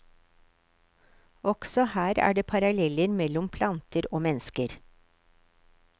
Også her er det paralleller mellom planter og mennesker.